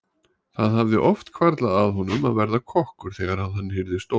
Það hafði oft hvarflað að honum að verða kokkur þegar hann yrði stór.